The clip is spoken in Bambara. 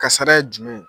Kasara ye jumɛn ye